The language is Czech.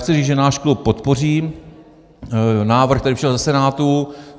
Chci říct, že náš klub podpoří návrh, který přišel ze Senátu.